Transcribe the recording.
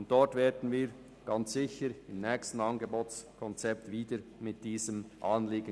Dieses Anliegen werden wir mit Sicherheit im nächsten Angebotskonzept unterbringen.